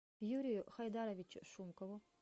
юрию хайдаровичу шумкову